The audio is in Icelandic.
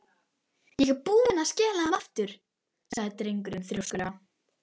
Ég er búinn að skila þeim aftur sagði drengurinn þrjóskulega.